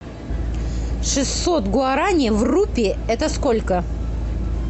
шестьсот гуарани в рупии это сколько